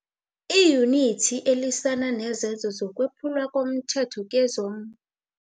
IYunithi elwisana nezenzo zokwephulwa komthetho kezom